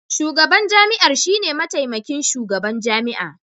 Shugaban jami'ar shine mataimakin shugaban jami'a